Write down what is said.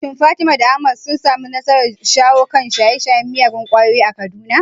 Shin Fatima da Ahmad sun samu nasarar shawo kan shaye-shayen miyagun ƙwayoyi a Kaduna?